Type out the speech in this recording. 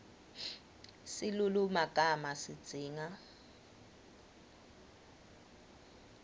silulumagama sidzinga